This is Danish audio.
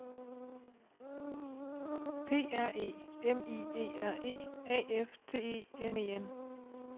P R E M I E R E A F T E N E N